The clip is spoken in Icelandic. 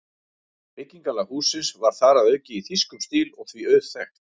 Byggingarlag hússins var þar að auki í þýskum stíl og því auðþekkt.